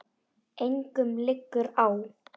Engum liggur á.